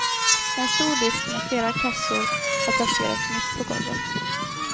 En stor disk med flera kassor har placerats mitt på golvet.